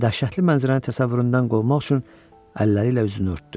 Bu dəhşətli mənzərənin təsəvvüründən qovmaq üçün əlləri ilə üzünü örtdü.